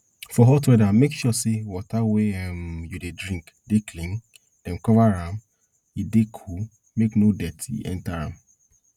for hot weather make sure say water wey um you dey drink dey clean dem cover am e dey cool make no dirt enter am